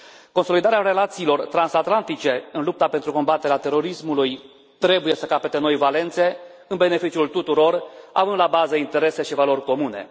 Consolidarea relațiilor transatlantice în lupta pentru combaterea terorismului trebuie să capete noi valențe în beneficiul tuturor, având la bază interese și valori comune.